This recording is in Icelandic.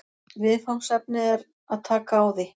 Viðfangsefnið er að taka á því